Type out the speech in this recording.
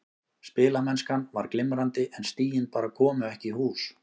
Spilamennskan var glimrandi en stigin bara komu ekki í hús.